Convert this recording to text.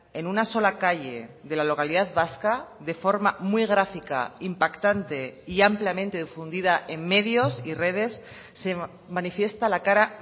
en una sola calle de la localidad vasca de forma muy gráfica impactante y ampliamente difundida en medios y redes se manifiesta la cara